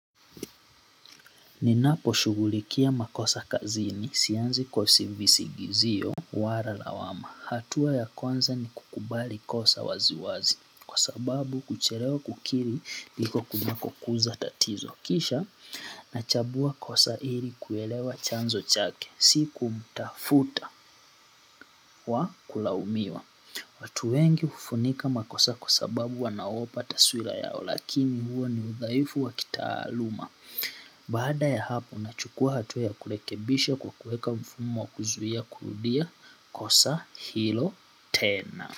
Ninaposhugulikia makosa kazini, sianzi kwa visigizio, wala lawama. Hatua ya kwanza ni kukubali kosa waziwazi, kwa sababu kuchelewa kukiri ndiko kunakokuza tatizo kisha, nachambua kosa ili kuelewa chanzo chake, si kumtafuta wa kulaumiwa. Watu wengi hufunika makosa kwa sababu wanaogopa taswira yao, lakini huo ni udhaifu wa kitaaluma. Baada ya hapo, nachukua hatua ya kurekebisha kuweeka mfumo wa kuzuia kurudia kosa hilo tena.